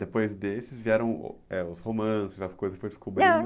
Depois desses vieram ãh os romances, as coisas que foi descobrindo